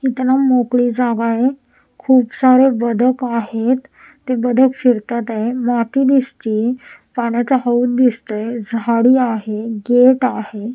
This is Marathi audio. इथं ना मोकळी जागा आहे खूप सारे बदक आहेत ते बदक फिरतात आहे माती दिसते पाण्याचा हौत दिसतात झाडी आहे गेट आहे.